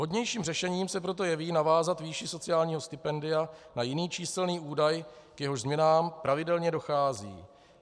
Vhodnějším řešením se proto jeví navázat výši sociálního stipendia na jiný číselný údaj, k jehož změnám pravidelně dochází.